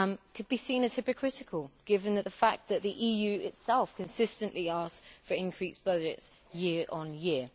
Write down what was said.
could be seen as hypocritical given the fact that the EU itself consistently asks for increased budgets year on year.